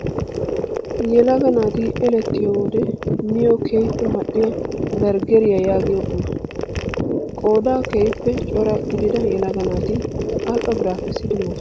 Yelagga naati elettiyo wode miyoo keehippe mal''iyaa berggeriyaa yaagiyoo qumaa. Qoodan keehippe cora gidida yelagga naati al''o bira kessidi moosona.